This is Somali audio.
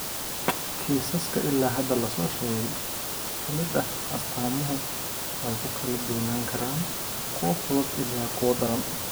Kiisaska ilaa hadda la soo sheegay ka mid ah, astaamuhu way ku kala duwanaan karaan kuwo fudud ilaa kuwa daran.